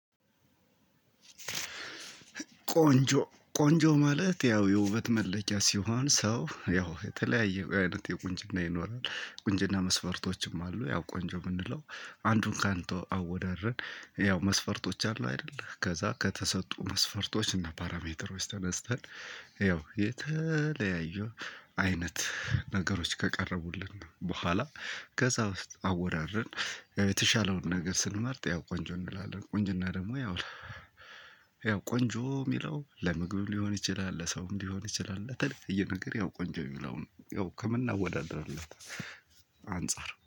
ቆንጆ ቆንጆ ማለት ያው የውበት መለኪያ ሲሆን ሰው ያው የተለያየ አይነት የቁንጅና ይኖራል ቁንጅና መስፈርቶችም አሉ። ያው ቆንጆ የምንለው አንዱን ካንዱ አወዳድረን ያው መስፈርቶች አሉ አይደለ ከዛ ከተሰጡ መስፈርቶች እና ፓራሜትሮች ተነስተን ያው የተለያዩ አይነት ነገሮች ከቀረቡልን በኋላ ከዛ ውስጥ አወዳድረን የተሻለውን ነገር ስንመርጥ ያው ቆንጆ እንላለን። ቆንጅና ደግሞ ያው ያው ቆንጆ የሚለው ለምግብም ሊሆን ይችላል ለሰውም ሊሆን ይችላል። ለተለያየ ነገር ያው ቆንጆ የሚለው የሚለውን ያው ከምናወዳድርበት አንፃር